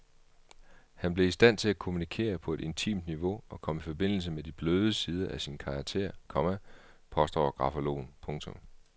Han blev i stand til at kommunikere på et intimt niveau og kom i forbindelse med de bløde sider af sin karakter, komma påstår grafologen. punktum